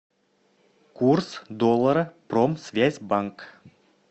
курс доллара промсвязьбанк